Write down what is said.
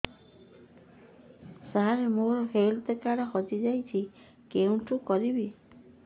ସାର ମୋର health card ହଜି ଯାଇଛି କେଉଁଠି କରିବି